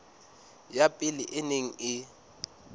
ya pele e neng e